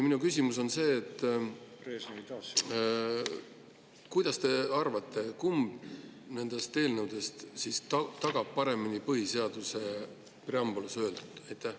Minu küsimus on see: mida te arvate, kumb nendest eelnõudest tagab paremini põhiseaduse preambulas öeldu?